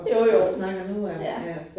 Jo jo, ja